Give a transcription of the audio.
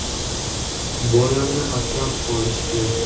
Bolamni asrab qolishdi.